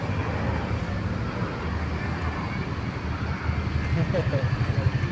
Só queria dar uma uma pausa antes de você pegar o avião para o Rio. E aí